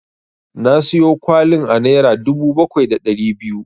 Na siyo kwalin a naira dubu bakwai da ɗari biyu.